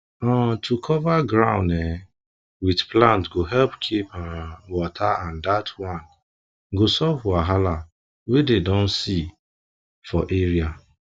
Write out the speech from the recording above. um to cover ground um with plant go help keep um water and that one go solve wahala wey dem don see for area